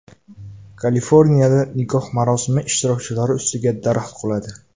Kaliforniyada nikoh marosimi ishtirokchilari ustiga daraxt quladi.